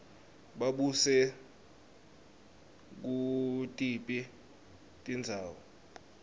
babuse kutiphi tindzawo